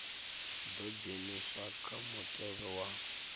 ḓo dzheniswa kha mutevhe wa